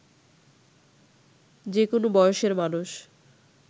যে কোনো বয়সের মানুষ